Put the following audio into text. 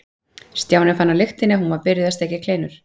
Stjáni fann á lyktinni að hún var byrjuð að steikja kleinur.